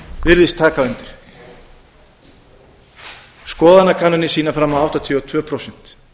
virðist taka undir skoðanakannanir sýna fram á áttatíu og tvö prósent